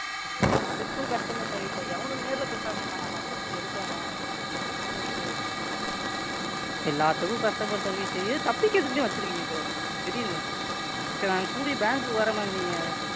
ஐயோ அதுக்கும் Customer service ஆ எவனும் நேர்ல பேசவே மாட்டானா Ma'amFirst உ எடுக்குறவன் என்ன Ma'am இது? எல்லாத்துக்கும் Customer service இது தப்பிக்கிறதுக்கே வெச்சுருக்கீங்க போல Ma'am தெரியுது Ma'am சரி அவனை கூட்டிட்டு Bank குக்கு வற்றன் Ma'am நீங்க,